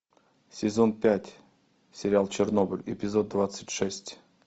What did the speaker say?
сезон пять сериал чернобыль эпизод двадцать шесть